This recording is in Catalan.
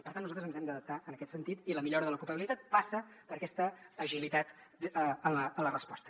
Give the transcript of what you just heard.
per tant nosaltres ens hem d’adaptar en aquest sentit i la millora de l’ocupabilitat passa per aquesta agilitat en la resposta